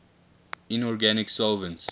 inorganic solvents